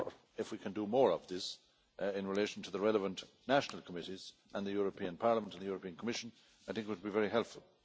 if we can do more of this in relation to the relevant national committees and the European Parliament and the European Commission, I think it would be very helpful.